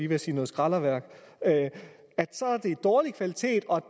ved at sige noget skraldeværk at det er dårlig kvalitet og